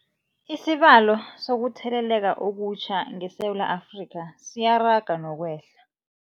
Isibalo sokuthele leka okutjha ngeSewula Afrika siyaraga nokwehla.